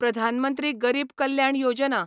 Pradhan Mantri Garib Kalyan Yojana